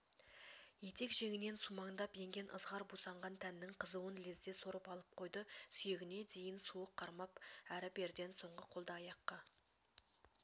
етек-жеңінен сумаңдап енген ызғар бусанған тәннің қызуын лезде сорып алып қойды сүйегіне дейін суық қармап әрі-берден соң қолды-аяққа